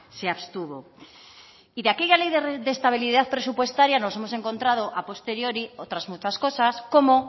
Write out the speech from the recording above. se abstuvo y de aquella ley de estabilidad presupuestaria nos hemos encontrado a posteriori otras muchas cosas como